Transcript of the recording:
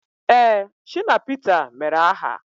Ee, Shina Pita mere aha